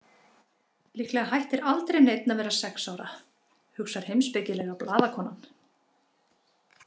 Líklega hættir aldrei neinn að vera sex ára, hugsar heimspekilega blaðakonan.